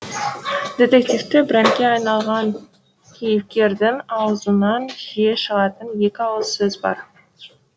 детективті брендке айналған кейіпкердің аузынан жиі шығатын екі ауыз сөз бар